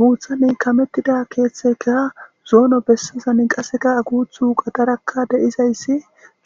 Buuxan kamettida keeththeykka zoonon qasseka guuththu qadarakka de'izayssi